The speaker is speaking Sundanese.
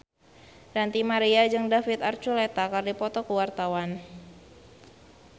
Ranty Maria jeung David Archuletta keur dipoto ku wartawan